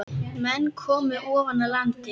Menn komu ofan af landi.